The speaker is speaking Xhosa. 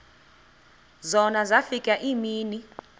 zona zafika iimini